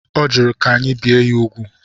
Ọ jụrụ ka anyị bịe ya úgwù.